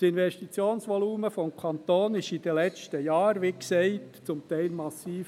Das Investitionsvolumen des Kantons sank in den letzten Jahren, wie gesagt, zum Teil massiv.